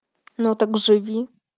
но так живи